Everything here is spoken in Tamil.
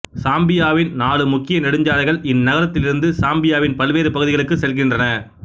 சாம்பியாவின் நாலு முக்கிய நெடுஞ்சாலைகள் இந்நகரத்திலிருந்து சாம்பியாவின் பல்வேறு பகுதிகளுக்கு செல்கின்றன